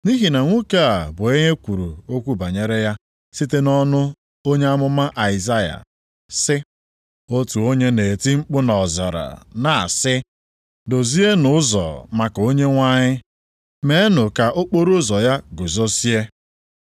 Nʼihi na nwoke a bụ onye e kwuru okwu banyere ya site nʼọnụ onye amụma Aịzaya sị, “Otu onye na-eti mkpu nʼọzara, na-asị, ‘Dozienụ ụzọ maka Onyenwe anyị, meenụ ka okporoụzọ ya guzozie.’ ”+ 3:3 \+xt Aịz 40:3\+xt*